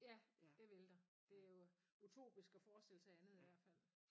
Ja det ville der det jo utopisk at forestille sig andet i hvert fald